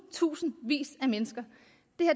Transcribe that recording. tusindvis af mennesker